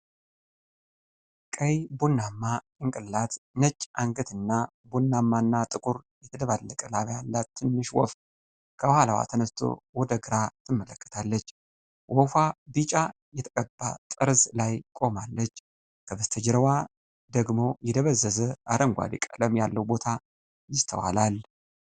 ቀይ ቡናማ ጭንቅላት፣ ነጭ አንገት እና ቡናማና ጥቁር የተደባለቀ ላባ ያላት ትንሽ ወፍ ከኋላዋ ተነስቶ ወደ ግራ ትመለከታለች። ወፏ ቢጫ የተቀባ ጠርዝ ላይ ቆማለች፤ ከበስተጀርባ ደግሞ የደበዘዘ አረንጓዴ ቀለም ያለው ቦታ ይስተዋላል።